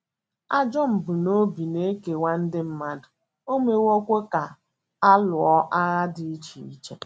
Ajọ mbunobi na - ekewa ndị mmadụ, o mewokwa ka a lụọ agha dị iche iche.